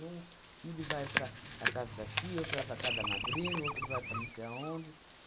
Um filho vai para a para a casa da tia, outro vai para a casa da madrinha, outro vai para não sei aonde.